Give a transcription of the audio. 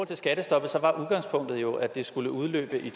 til skattestoppet var udgangspunktet jo at det skulle udløbe i